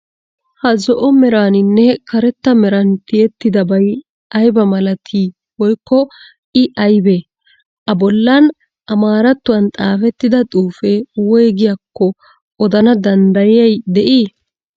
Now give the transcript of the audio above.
Ha zo'o meraaninne karetta meran tiyettidabay aybaa malatii woykko I aybee? A bollan amaarattuwan xaafettida xuufee woygiyagaakko odana danddayiyay de'ii?